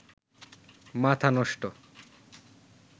মাথা নষ্ট